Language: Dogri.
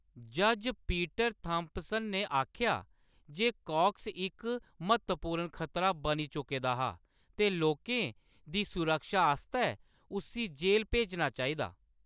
जज्ज पीटर थाम्पसन ने आखेआ जे काक्स इक म्हत्तवपूर्ण खतरा बनी चुके दा हा ते लोकें दी सुरक्षा आस्तै उस्सी जेह्‌‌‌ल भेजना चाहिदा।